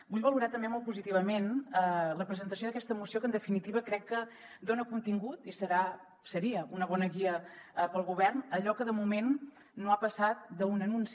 vull valorar també molt positivament la presentació d’aquesta moció que en definitiva crec que dona contingut i serà seria una bona guia per al govern allò que de moment no ha passat d’un anunci